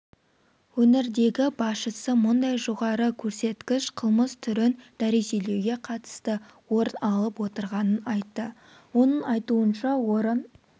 өңірдегі басшысы мұндай жоғары көрсеткіш қылмыс түрін дәрежелеуге қатысты орын алып отырғанын айты оның айтуынша орын